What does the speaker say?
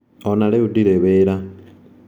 Onarĩu ndirĩ wĩra.